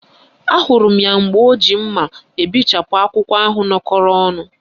Ahụrụ m ya mgbe o ji mma ebechapụ akwụkwọ ahụ nọkọrọ ọnụ